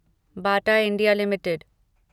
Bata India limited